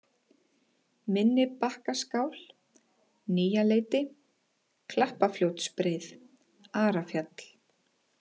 Minnibakkaskál, Nýjaleiti, Klappafljótsbreið, Arafjall